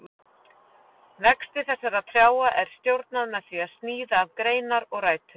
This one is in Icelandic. Vexti þessara trjáa er stjórnað með því að sníða af greinar og rætur.